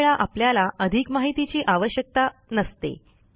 काही वेळा आपल्याला अधिक माहितीची आवश्यकता नसते